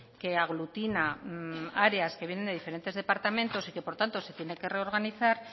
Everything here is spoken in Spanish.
que aglutina áreas que vienen de diferentes departamentos y que por tanto se tiene que reorganizar